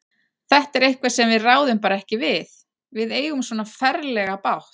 Þetta er eitthvað sem við ráðum bara ekki við. við eigum svona ferlega bágt.